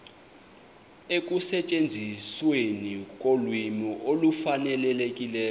ekusetyenzisweni kolwimi olufanelekileyo